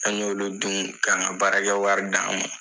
An y'olu dun k'an ka baarakɛ wari d'an ma